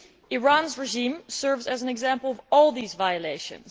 Iran's regime serves as an example of all these violations.